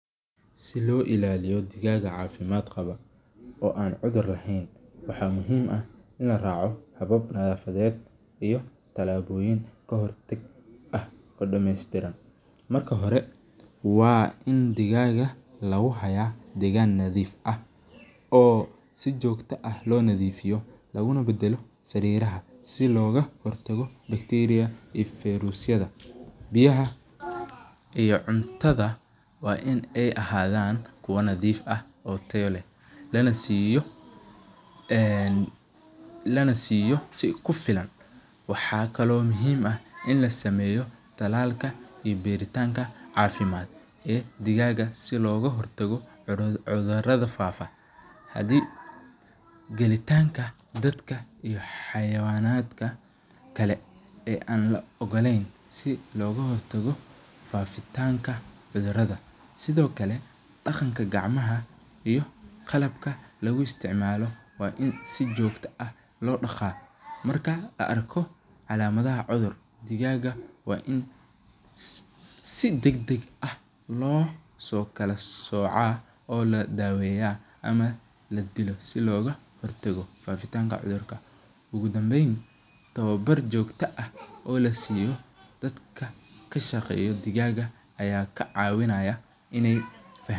Si lo ilaliya digag cafimaad kawa oo an cudhur lahen waxaa muhiim ah in la raco habab iyo tilaboyin ka hortag ah, marka hore waa in lagu hayo digag meel sax ah, si loga hortaga bacteriyada iyo verusyaada iyo cuntaada waa kuwa nadhiif ah lana siyo si ku filan, waxaa kalo muhiim in talalka iyo beera leyda si dalaga loga hortago cudhurada fafo, si loga hortago sithokale daqanka iyo qalabka waa in si jogto ah marka la arko lamadaha cudhur waa in si dag dag ah lo kala soca lo daweya ama ladilo, ugu danben tawa bar jogto ah in dadka kasha geyo digaga.